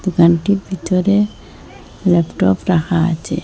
দোকানটির ভিতরে ল্যাপটপ রাখা আছে।